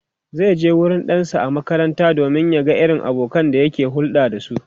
zaije wurin ɗansa a makaranta domin ya ga irin abokanan da yake hulɗa da su